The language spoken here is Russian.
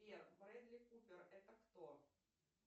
сбер бредли купер это кто